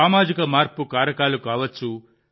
సామాజిక మార్పు కారకాలు కావచ్చు